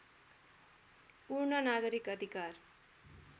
पूर्ण नागरिक अधिकार